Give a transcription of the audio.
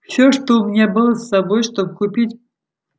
всё что у меня было с собой чтобы купить